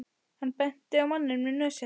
Hann benti á manninn með nösina.